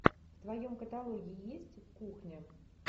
в твоем каталоге есть кухня